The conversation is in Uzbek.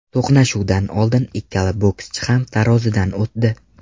To‘qnashuvdan oldin ikkala bokschi ham tarozidan o‘tdi.